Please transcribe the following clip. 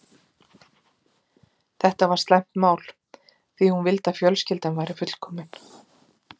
Þetta var slæmt mál, því hún vildi að fjölskyldan væri fullkomin.